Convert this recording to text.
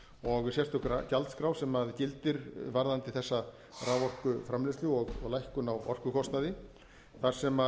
og sérstök gjaldskrá sem gildir varðandi þessa raforkuframleiðslu og lækkun á orkukostnaði þar sem